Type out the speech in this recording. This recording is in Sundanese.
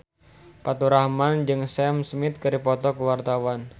Faturrahman jeung Sam Smith keur dipoto ku wartawan